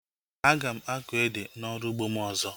Aga m akọ ede na ọrụ ugbo m ọzọ